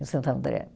Em Santo André.